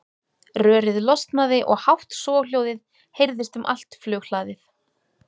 Rörið losnaði og hátt soghljóðið heyrðist um allt flughlaðið.